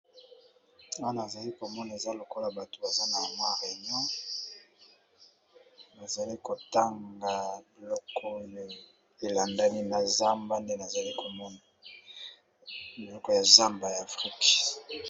Awa tozali komona, ezali lokola batu oyo baza na bokutani, soki totali malamu bazali kosolola pona zamba oyo